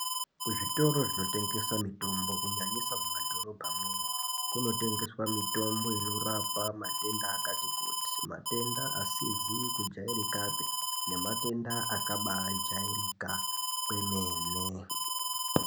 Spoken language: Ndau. Kuzvitoro zvinotengeswa mitombo kunyanya kumadhorobha imwomo kunotengeswa mitombo inorapa matenda akati kuti matenda matenda asizi kujairika pii nematenda akabayi jairika kwemeneee.